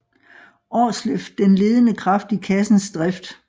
Aarsleff den ledende kraft i kassens drift